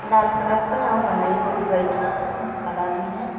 लाल colour का मनई बहुत बइठा हैन अउ खड़ा भी हैन्।